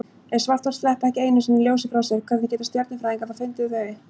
Ef svarthol sleppa ekki einu sinni ljósi frá sér, hvernig geta stjörnufræðingar þá fundið þau?